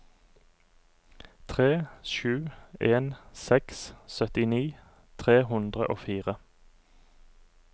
tre sju en seks syttini tre hundre og fire